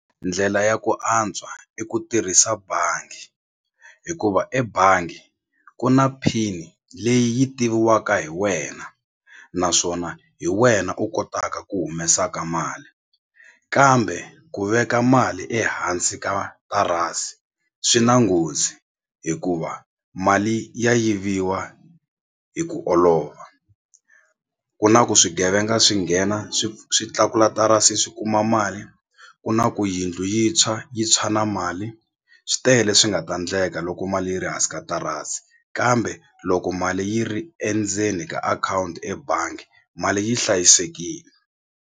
Ndlela ya ku antswa i ku tirhisa bangi hikuva ebangi ku na pin leyi yi tiviwaka hi wena naswona hi wena u kotaka ku humesaka mali kambe ku veka mali ehansi ka tarasi swi na nghozi hikuva mali ya yiviwa hi ku olova ku na ku swigevenga swi nghena swi swi tlakula tarasi swi kuma mali ku na ku yindlu yi tshwa yi tshwa na mali swi tele leswi nga ta ndleka loko mali yi ri hansi ka tarasi kambe loko mali yi ri endzeni ka akhawunti ebangi mali yi hlayisekile.